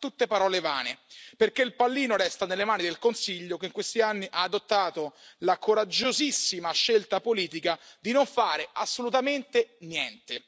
Ma sono tutte parole vane, perché il pallino resta nelle mani del Consiglio, che in questi anni ha adottato la coraggiosissima scelta politica di non fare assolutamente niente,